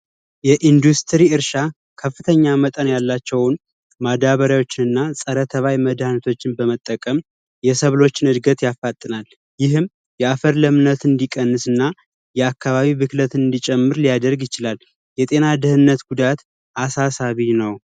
የኢንዱስትሪ እርሻ ከፍተኛ መጠን ያላቸውን ማዳበሪያዎችን እና ፀረ ተባይ መድሀኒቶችን በመጠቀም የሰብሎችን እድገት ያፋጥናል ይህም የአፈና ለምነት እንዲቀንስ እና የአካባቢ ብክለት እንዲጨምር ሊያደርግ ይችላል። የአፈር ደህንነት አሳሳቢ ነው።